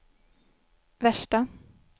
värsta